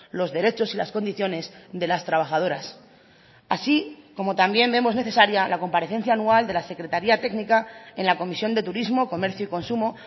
los derechos y las condiciones de las trabajadoras así como también vemos necesaria la comparecencia anual de la secretaría técnica en la comisión de turismo comercio y consumo